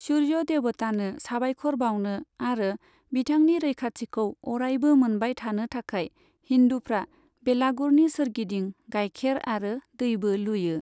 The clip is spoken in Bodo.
सुर्य देवतानो साबायखर बावनो आरो बिथांनि रैखाथिखौ अरायबो मोनबाय थानो थाखाय हिन्दुफ्रा बेलागुरनि सोरगिदिं गाइखेर आरो दैबो लुयो।